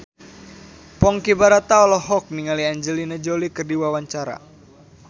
Ponky Brata olohok ningali Angelina Jolie keur diwawancara